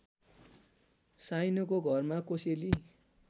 साइनोको घरमा कोसेली